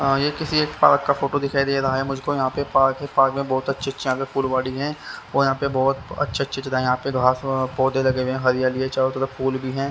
ये किसी एक पार्क का फोटो दिखाई दे रहा है मुझको यहाँ पे पार्क है पार्क में बहुत अच्छी अच्छे यहाँ पे फूलवाड़ी है वो यहाँ पे बहुत अच्छे अच्छी तरह यहाँ पे घास पौधे लगे हुए हैं हरियाली है चारों तरफ फूल भी है।